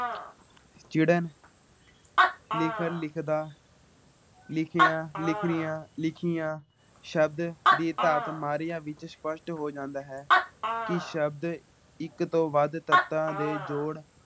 ਚਿੜਣ ਲਿਖ ਲਿਖਦਾ ਲਿਖਿਆ ਲਿਖਰੀਆਂ ਲਿਖੀਆਂ ਸ਼ਬਦ ਦੀ ਧਾਤ ਮਾਰੀਆ ਵਿੱਚ ਸਪਸ਼ਟ ਹੋ ਜਾਂਦਾ ਹੈ। ਕੀ ਸ਼ਬਦ ਇੱਕ ਤੋਂ ਵੱਧ ਤੱਤਾਂ ਦੇ ਜੋੜ